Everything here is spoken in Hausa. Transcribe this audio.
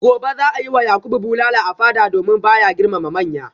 gobe za a yi wa yakubu bulala a fada domin ba ya girmama manya